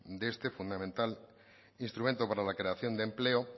de este fundamental instrumento para la creación de empleo